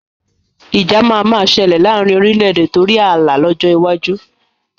Ìjà máa ma ṣẹlẹ̀ laarin orílédé torí ààlà lọ́jọ́ iwájú